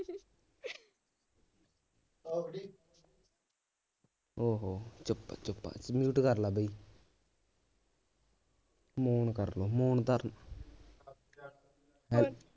ਉਹ ਹੋ ਚੁੱਪ ਚੁੱਪ mute ਕਰਲਾ ਬਈ ਮੌਨ ਕਰਲੋ ਮੌਨ ਧਰਲੋ ਹੈ